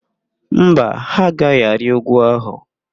Mba, ha agaghị arị úgwú ahụ.